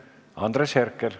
Andres Herkel.